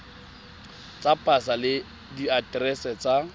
tsa pasa le diaterese tsa